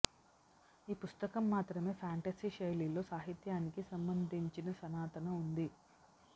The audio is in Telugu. ఈ పుస్తకం మాత్రమే ఫాంటసీ శైలిలో సాహిత్యానికి సంబంధించిన సనాతన ఉంది